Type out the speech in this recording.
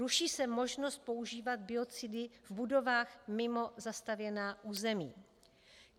Ruší se možnost používat biocidy v budovách mimo zastavěná území.